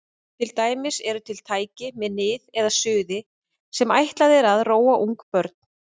Til dæmis eru til tæki með nið eða suði sem ætlað er að róa ungbörn.